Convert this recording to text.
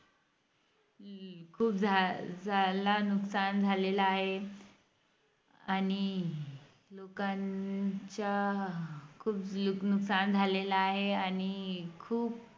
खूप झालं झालं नुकसान झालेलं आहे आणि लोकांच्या खूप नुकसान झालेलं आहे आणि